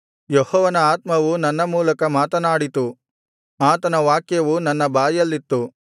ಯೆಹೋವನ ಆತ್ಮವು ನನ್ನ ಮೂಲಕ ಮಾತನಾಡಿತು ಆತನ ವಾಕ್ಯವು ನನ್ನ ಬಾಯಲ್ಲಿತ್ತು